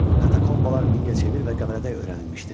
Katakombalar Mingəçevir və Qəbələdə öyrənilmişdir.